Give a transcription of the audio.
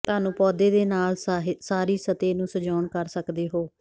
ਤੁਹਾਨੂੰ ਪੌਦੇ ਦੇ ਨਾਲ ਸਾਰੀ ਸਤਹ ਨੂੰ ਸਜਾਉਣ ਕਰ ਸਕਦੇ ਹੋ